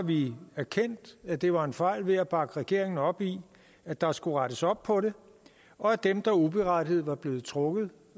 vi erkendt at det var en fejl ved at bakke regeringen op i at der skulle rettes op på det og at dem der uberettiget var blevet trukket